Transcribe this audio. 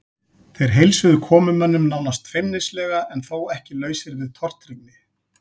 Þeir heilsuðu komumönnum nánast feimnislega en þó ekki lausir við tortryggni.